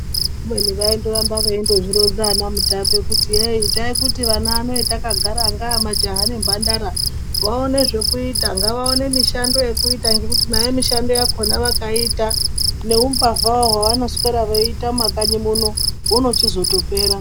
Kubeni vaindoramba vaizvironza ana Mutape kuti heyi taimuti vana vano vatakagara majaha nemhandara vaone zvekuita ,ngavaone zvekuita , ngavaone mishando yekuita zvekuti nayo mishando yakona vakaiita nehumbavhahwo hwavanoswera vaiita mumakanyi muno hunochizotopera .